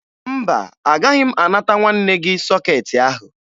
Mba, agaghị m anata nwanne gị sọkeetị ahụ